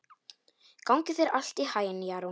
Gangi þér allt í haginn, Jarún.